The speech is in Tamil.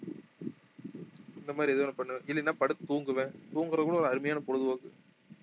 இந்த மாதிரி எதாவது ஒன்னு பண்ணுவேன் இல்லைன்னா படுத்து தூங்குவேன் தூங்குறதுக்கு கூட ஒரு அருமையான பொழுதுபோக்கு